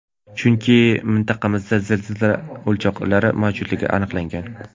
Chunki mintaqamizda zilzila o‘choqlari mavjudligi aniqlangan.